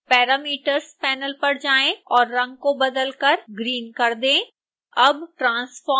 parameters panel पर जाएं और रंग को बदलकर green कर दें